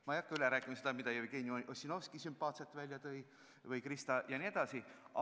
Ma ei hakka üle rääkima seda, mida tõid sümpaatselt välja Jevgeni Ossinovski või Krista jne.